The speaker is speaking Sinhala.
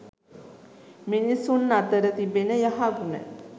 මිනිසුන් අතර තිබෙන යහගුණ